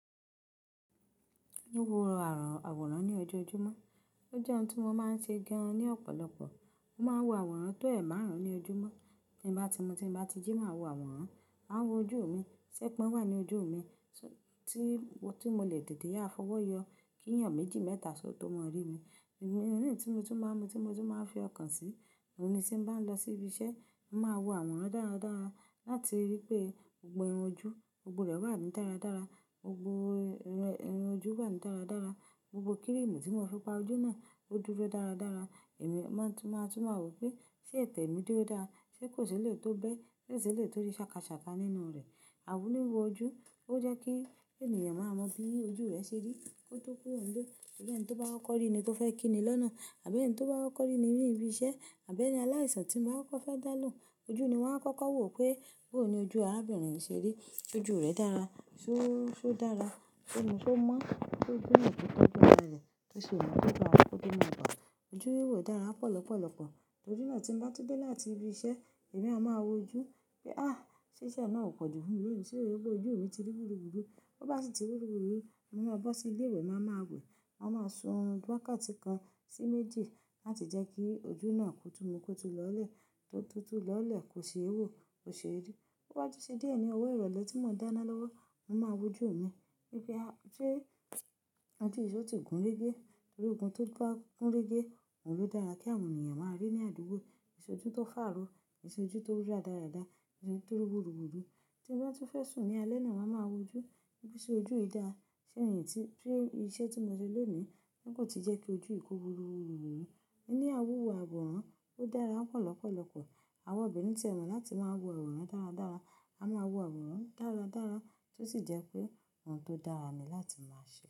Wíwọ àwòrán ní ojoojúmọ́, ó jẹ́ ohun tí wọ́n máa ń ṣe gan ní ọ̀pọ̀lọpọ̀. Mo máa ń wo àwòrán tó ẹ márùn-ún ní ojúmọ́. Nígbà tí mu ti bá jí máa wo àwòrán, màá wo ojú mi ṣé pin wà ní ojú mi, tí mo lè dìde yá fọwọ́ yọ kí ènìyàn méjì mẹ́ta só tó mọ rí mi. Ìrírìn tí mo ti máa ń mu, tí mo ti máa ń fi ọkàn sí, òun ni tí n bá ń lọ sí ibi iṣẹ́, màá wo àwòrán dára dára láti rí pé gbogbó irun ojú, gbogbó rẹ̀ wà ní dára dára, gbogbó irun ojú wà ní dára dára, gbogbo kírìmù tí wọ́n fi pa ojú náà ó dúró dára dára. Èmi máa tú máa wò pé ṣé ẹ̀tẹ̀ mi dúró dára, ṣé kò ṣé lè tó bẹ́, ṣé kò ṣé lè tó rí ṣàkàṣàka nínú rẹ̀. Àwo níbo ojú, ó jẹ́ kí ènìyàn máa mọ bí ojú rẹ ṣe rí, kó tó kúro nle. Ẹni tí ó bá wọ́kọ̀ rí ni kó fẹ́ kíni lọ́nà àbí ẹni tí ó bá wọ́kọ̀ rí nínú ibi iṣẹ́, àbí ní aláìsàn tí mo bá kọ́ fẹ́ dá lóhùn. Ojú ni wọ́n á kọ́kọ́ wò pé bóhùn ni ojú arábìnrin ṣe rí. Ṣé ojú rẹ̀ dára, ṣé ó dára, ṣé o mọ́, ṣé gbónà tó kan gbóná rẹ̀, tó ṣe òun tó kan á, kó tó mọ̀ ọ̀. Ojú wíwò dára pọ̀ lọ́pọ̀lọ́pọ̀. Tori náà tí n bá ti dé láti ibi iṣẹ́, èmi a máa wo ojú pé á ṣé iṣẹ́ náà ò pọ̀jù fún mi lónìí ṣé gbogbo ojú mi ti rí wúruwúrú. Bí ó bá sì ti rí wúruwúrú, mo máa bọ́ sí ilé ìwẹ̀, màá máa wẹ̀, màá máa sun orun wákàtí kan sí méjì láti jẹ́ kí ojú náà kó tú mu kó tú lọ́lẹ̀, tó tú tú lọ́lẹ̀ kó ṣe é wò, kó ṣe é rí. Toba tun ṣé díẹ̀ ni owó ìrọ̀lẹ́ tí mò ń dáná lọ́wọ́, mò máa wo ojú mi wípé ṣé ojú yi so ti gùn régé torí ogun tó bá gún régé, òun ló dára kí àwọn ènìyàn máa rí ní àdúgbò. K'iṣe ojú tó fàro, k'ìṣe ojú tó ri rádarada, k'ìṣe ojú tó rí wúruwúrú. Tí mo bá ti fẹ́ sùn ní alẹ́ náà, màá máa wo ojú bí iṣẹ́ ojú yìí dá. Ṣé ènìyí tí iṣẹ́ tí mo ṣe lónìí kò tí jẹ́ kí ojú ìkó ri wúruwúrú. Ẹni á wúwo àwòrán ó dára pọ̀lọ́pọ̀lọ́pọ̀. Àwọn obìnrin ti ẹ mọ̀ láti máa wo àwòrán dára dára. A máa wo àwòrán dáradára tó sì jẹ́ pé òun tó dára ni láti máa ṣe.